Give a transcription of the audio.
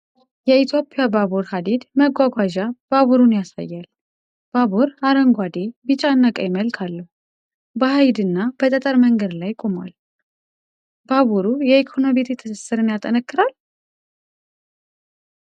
የኢትዮጵያ ባቡር ሐዲድ መጓጓዣ ባቡርን ያሳያል። ባቡሩ አረንጓዴ፣ ቢጫና ቀይ መልክ አለው። በሀዲድና በጠጠር መንገድ ላይ ቆሟል። ባቡሩ የኢኮኖሚ ትስስርን ያጠናክራል?